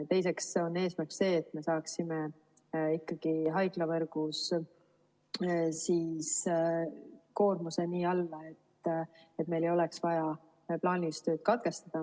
Teiseks on eesmärk see, et me saaksime ikkagi haiglavõrgus koormuse nii alla, et meil ei oleks vaja plaanilist tööd katkestada.